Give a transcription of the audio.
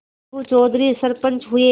अलगू चौधरी सरपंच हुए